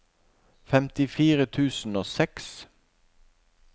femtifire tusen og seks